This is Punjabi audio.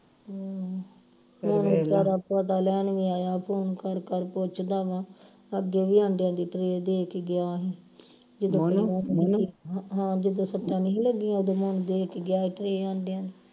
ਪਿਉ ਵਿਚਾਰਾ ਪਤਾ ਲੈਣ ਵੀ ਆਇਆ phone ਕਰ ਕਰ ਪੁੱਛਦਾ ਵਾ ਅੱਗੇ ਵੀ ਆਂਡਿਆ ਦੀ tray ਦੇ ਕੇ ਗਿਆ ਹੀ ਜਦੋਂ ਹੈ ਹਾਂ ਜਦੋਂ ਸੱਟਾਂ ਨਹੀਂ ਲੱਗੀਆਂ ਉਹਦੇ ਦੇ ਕੇ